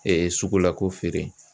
sugula ko feere.